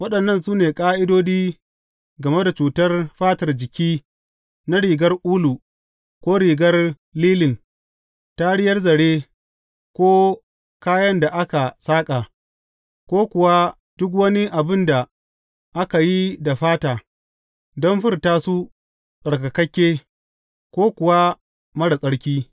Waɗannan su ne ƙa’idodi game da cutar fatar jiki na rigar ulu, ko rigar lilin, tariyar zare, ko kayan da aka saƙa, ko kuwa duk wani abin da aka yi da fata, don furta su tsarkakakke, ko kuwa marar tsarki.